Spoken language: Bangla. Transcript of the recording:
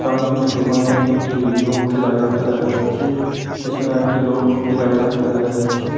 সামনে একটি দোকানে একটি লোক কে দাঁড়িয়ে থাকতে দেখা যাচ্ছে পিছনে আরেকটি লোউক কে দাঁড়িয়ে থাকতে দেখা যাচ্ছে।